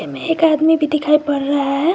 एक आदमी भी दिखाई पड़ रहा है।